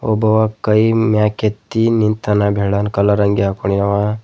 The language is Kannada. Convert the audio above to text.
ಒಬ್ಬ ಕೈ ಮ್ಯಾಕೇತ್ತಿ ನಿಂತಾನ ಬೆಳ್ಳನ್ಕಲರ್ ಅಂಗಿ ಹಾಕೊಂನ್ಯವ.